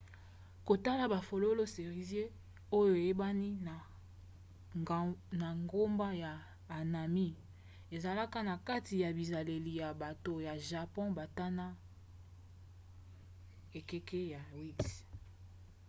kotala bafololo cerisier oyo eyebani na nkombo ya hanami ezalaka na kati ya bizaleli ya bato ya japon bandana ekeke ya 8